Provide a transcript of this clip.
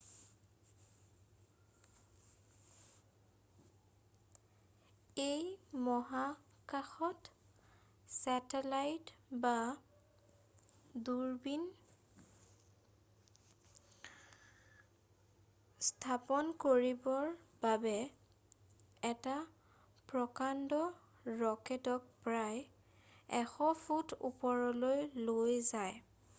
ই মহাকাশত ছেটেলাইট বা দূৰবীন স্থাপন কৰিবৰ বাবে এটা প্ৰকাণ্ড ৰকেটক প্ৰায় 100 ফুট ওপৰলৈ লৈ যায়